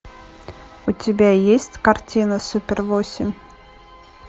у тебя есть картина супер восемь